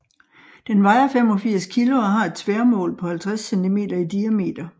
Den vejer 85 kg og har et tværmål på 50 cm i diameter